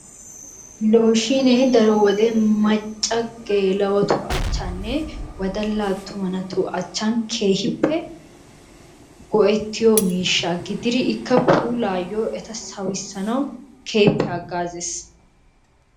Looshiinee daro wode macca geela'otu achchaninne wodalla attuma naatu achchan keehippe go'ettiyo miishsha gididi ikka puulaayyo eta sawissanawu keehippe haggaazzes.